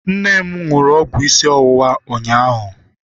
Nne m ṅụrụ ọgwụ isi ọwụwa ụnyaahụ.